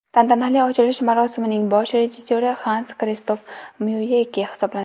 Tantanali ochilish marosimining bosh rejissyori Xans Kristof Myuyeke hisoblanadi.